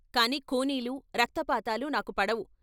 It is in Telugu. కాని ఖూనీలు, రక్తపాతాలు నాకు పడవు.